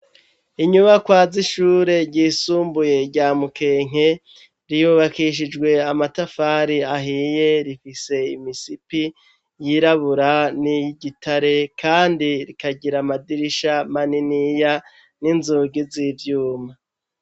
Inyubakwa z'ishure ryisumbuye rya Mukenke ryubakishijwe amatafari ahiye rifise imisipi yirabura niy'igitare kandi rikagira amadirisha maniniya n'inzugi z'ivyuma.